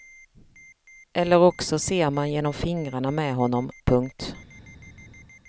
Eller också ser man genom fingrarna med honom. punkt